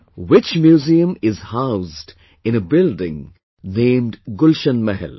Which museum is housed in a building named Gulshan Mahal